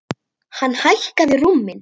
Hann hækkaði róminn.